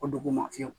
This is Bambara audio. O duguma fiyew